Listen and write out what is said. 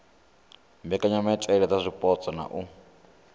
mbekanyamaitele dza zwipotso na u